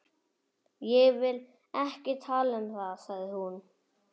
Ég vil ekki tala um það, sagði hún.